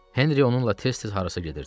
Henri onunla tez-tez harasa gedirdi.